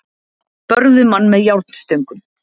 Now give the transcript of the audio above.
Börðu mann með járnstöngum